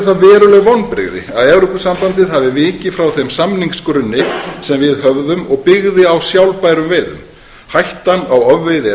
vonbrigði að evrópusambandið hafi vikið frá þeim samningsgrunni sem við höfðum og byggði á sjálfbærum veiðum hættan á ofveiði er